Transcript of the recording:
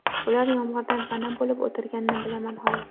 Ular yomg‘irdan pana bo‘lib o‘tirganini bilaman xolos.